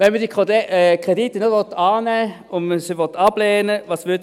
Wenn man diese Kredite nicht annehmen will und man sie ablehnen will: